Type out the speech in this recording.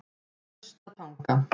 Naustatanga